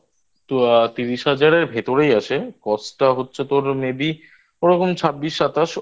তো তিরিশ হাজারের ভেতরেই আছে Cost টা হচ্ছে তোর May Be ওরকম ছাব্বিশ সাতাশ